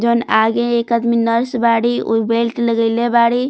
जोवन आगे एक आदमी नर्स बारी उ बेल्ट लगइले बरी।